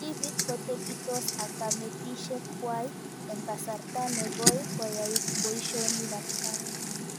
Tipik kotepitos ak kametoshek kwai eng' kasarta nekoi koyae poishonik ab kaa